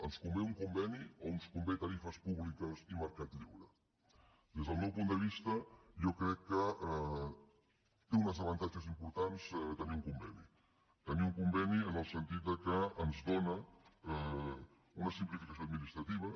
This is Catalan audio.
ens convé un conveni o ens convenen tarifes públiques i mercat lliure des del meu punt de vista jo crec que té uns avantatges importants tenir un conveni tenir un conveni en el sentit que ens dóna una simplificació administrativa